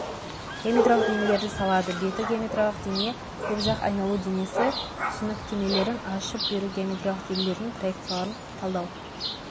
геометриялық денелерді салады беті геометриялық дене көпжақ айналу денесі түсініктемелерін ашып беру геометриялық денелердің проекцияларын талдау